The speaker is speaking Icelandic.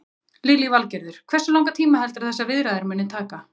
Lillý Valgerður: Hversu langan tíma heldurðu að þessar viðræður muni taka?